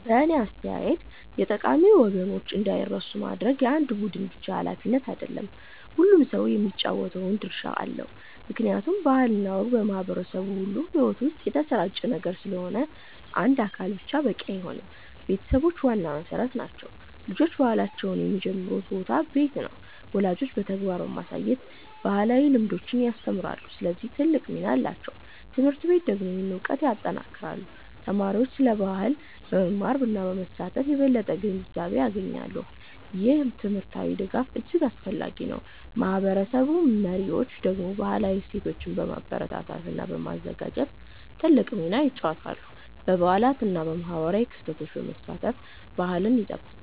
በእኔ አስተያየት የጠቃሚ ወጎችን እንዳይረሱ ማድረግ የአንድ ቡድን ብቻ ሃላፊነት አይደለም፤ ሁሉም ሰው የሚጫወተው ድርሻ አለው። ምክንያቱም ባህል እና ወግ በማህበረሰብ ሁሉ ሕይወት ውስጥ የተሰራጨ ነገር ስለሆነ አንድ አካል ብቻ በቂ አይሆንም። ቤተሰቦች ዋና መሠረት ናቸው። ልጆች ባህላቸውን የሚጀምሩበት ቦታ ቤት ነው። ወላጆች በተግባር በማሳየት ባህላዊ ልምዶችን ያስተምራሉ፣ ስለዚህ ትልቅ ሚና አላቸው። ት/ቤቶች ደግሞ ይህንን እውቀት ያጠናክራሉ። ተማሪዎች ስለ ባህል በመማር እና በመሳተፍ የበለጠ ግንዛቤ ያገኛሉ። ይህ ትምህርታዊ ድጋፍ እጅግ አስፈላጊ ነው። ማህበረሰብ መሪዎች ደግሞ ባህላዊ እሴቶችን በማበረታታት እና በማዘጋጀት ትልቅ ሚና ይጫወታሉ። በበዓላት እና በማህበራዊ ክስተቶች በመሳተፍ ባህልን ይጠብቃሉ።